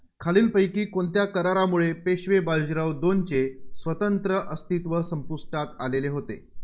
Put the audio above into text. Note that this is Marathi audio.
खालीलपैकी कोणत्या करारामुळे पेशवे बाजीराव दोनचे स्वतंत्र अस्तित्व संपुष्टात आलेले होते.